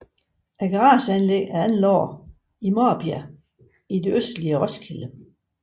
Garageanlægget er anlagt i Marbjerg i det østlige Roskilde